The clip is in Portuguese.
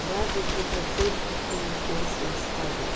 Aliás, um um conselho para quem pensa em se casar.